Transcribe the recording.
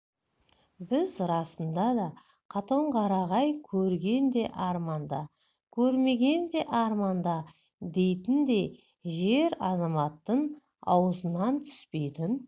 біз расында да қатонқарағай көрген де арманда көрмеген де арманда дейтіндей жер адамзаттың аузынан түспейтін